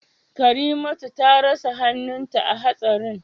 Karimatu ta rasa hannunta a hatsarin